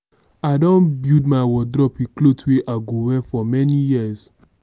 i don build my wardrobe wit clothes wey i go wear for many years.